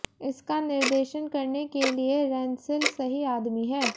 इसका निर्देशन करने के लिए रेंसिल सही आदमी है